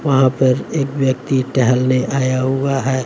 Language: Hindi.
वहां पर एक व्यक्ति टहलने आया हुआ है।